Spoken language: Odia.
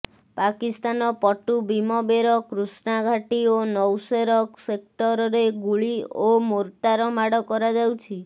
ପାକିସ୍ତାନ ପଟୁ ବୀମବେର କୃଷ୍ଣା ଘାଟି ଓ ନୌସେର ସେକ୍ଟରରେ ଗୁଳି ଓ ମୋର୍ଟାର ମାଡ କରାଯାଉଛି